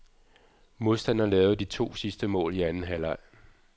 Modstanderen lavede de to sidste mål i anden halvleg.